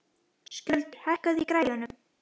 Skjöldur, hækkaðu í græjunum.